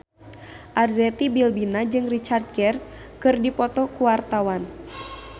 Arzetti Bilbina jeung Richard Gere keur dipoto ku wartawan